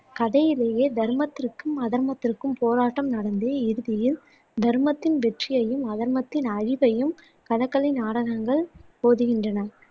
கதையிலேயே தர்மத்திற்கும் அதர்மத்திற்கும் போராட்டம் நடந்து இறுதியில் தர்மத்தின் வெற்றியையும் அதர்மத்தின் அழிவையும் கதகளி நாடகங்கள் போதிக்கின்றன